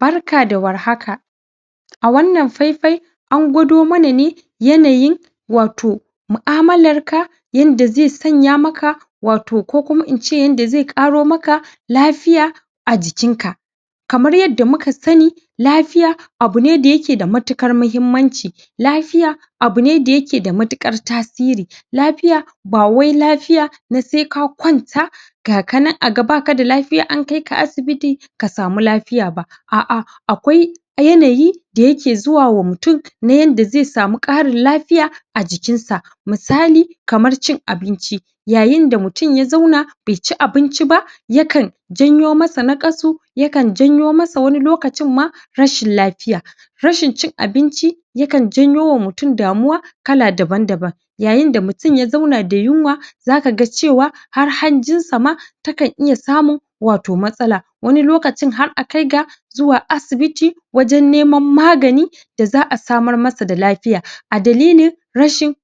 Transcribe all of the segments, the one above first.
Barka da warkaha a wannan faifai an gwadon mana ne yanayin wato mu'amalar ka yadda zai sanya maka wato ko kuma in ce yadda zai ƙaro maka lafiya a jikin ka kamar yadda muka sani lafiya abune da yake da matuƙar mahimmanci lafiya abune da yake da matuƙar tasiri lafiya ba wai lafiyar na sai ka kwanta gaka nan aga baka da lafiya sai an kai ka asibiti ka samu lafiya ba A'a akwai yanayi da yake zuwa ma mutum na yadda zai samu ƙarin lafiya a jikin sa misali kamar cin abinci yayin da mutum ya zauna bai ci abinci ba ya kan janyo masa naƙasu ya kan janyo masa wani lokacin ma rashin lafiya rashin cin abinci ya kan janyowa mutum damuwa kala daban-daban yayin da mutum ya zauna da yinwa zaka ga cewa har hanjin sa ma takan iya samun wato matsala wani lokacin har akai ga zuwa asibiti wajan neman magani da za'a samar masa da lafiya a dalilin rashin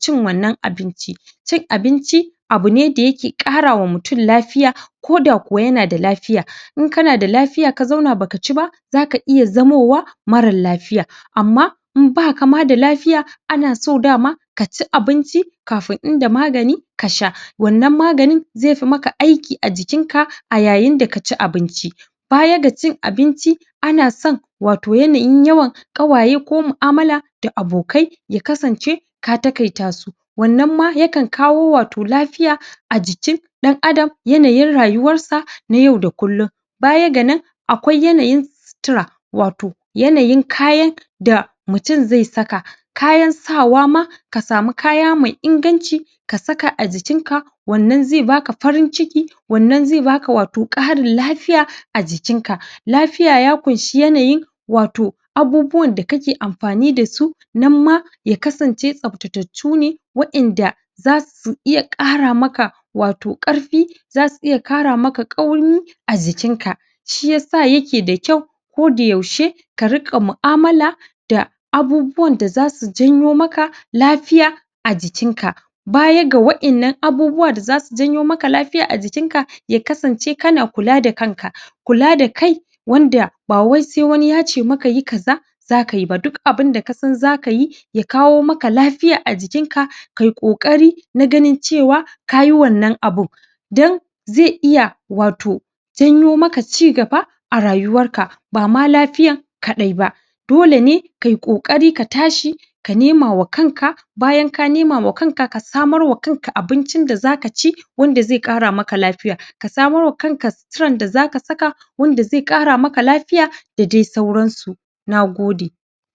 cin wwannan abincin cin abinci abine da yake ƙarawa mutum lafiya ko da kuma yana da lafiya in kana da lafiya ka zauna baka ci ba zaka iya zamowa marar lafiya amma in baka ma da lafiya ana so daman kaci abinci kafin inda magani kasha wannan maganin zai fi maka aikin a jikin ka a yayin da kaci abinci. Baya ga cin abinci ana san wato yanayin yawan ƙawaye ko mu'amala da abokai ya kasance ta taƙaita su wannan ma yaka kawo wato lafiya a jikin ɗan adam yanayin rayuwar sa na yau da kullin baya ga nan akwai yanayin sutura wato yanayin kayan da mutum zai saka kayan sawa ma ka sami kaya mai inganci ka saka a jikin ka wannan zai baka farin ciki wannan zai baka wato ƙarin lafiya a jikin ka, lafiya ya kunshi yanayi wato abubuwan da kake amfani dasu nan ma ya kasance tsaftatattu ne wa'yan da zasu iya ƙara maka wato ƙarfi zasu iya ƙara maka ƙaumi a jikin ka shiyasa yake da kyau ko da yaushe ka riga mu'amala da abubuwan da zasu janyo maka lafiya a jikin ka baya ga wa'yan nan abubuwa da zasu janyo maka lafiya a jikin ka, ya kasance kana kula da kanka kula da kai wanda ba sai wani yace maka yi kaza zakayi ba, duk abinda kasan zakayi ya kawo maka lafiya a jikin ka kai ƙoƙari na ganin cewa kayi wannan abun dan zai iya wato janyo maka ci gaba a rayuwar ka bama lafiya kaɗai ba dole ne kai ƙoƙarin ka tashi ka nemawa kanka bayan ka newa kanka, ka samarwa kanka abincin da zaka ci wanda zai ƙara maka lafiya, ka samarwa kanka suturar da zaka saka wanda zai ƙara maka lafiya da dai sauransu. Nagode